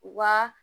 Wa